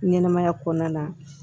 Ɲɛnɛmaya kɔnɔna na